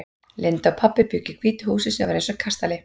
Linda og pabbi bjuggu í hvítu húsi sem var eins og kastali.